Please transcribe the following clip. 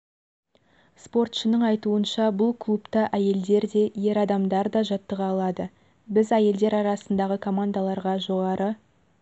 спортшының айтуынша бұл клубта әйелдер де ер адамдар да жаттыға алады біз әйелдер арасындағы командаларға жоғарғы